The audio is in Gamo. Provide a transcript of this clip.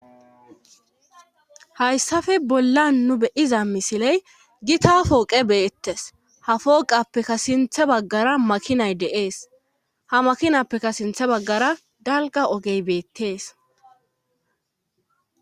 Hayssafe bolla nu beyiza misiley gi ta fooqe beettes ha foqappeka sintha baggara makinay deees ha makinappeka sintha baggara dalga ogey beettees